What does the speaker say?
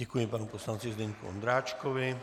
Děkuji panu poslanci Zdeňku Ondráčkovi.